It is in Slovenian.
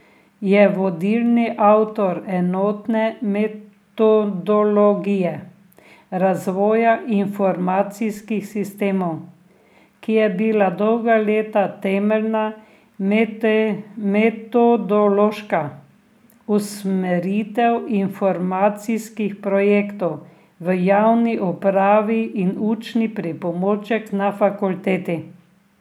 Je vodilni avtor Enotne metodologije razvoja informacijskih sistemov, ki je bila dolga leta temeljna metodološka usmeritev informacijskih projektov v javni upravi in učni pripomoček na fakulteti.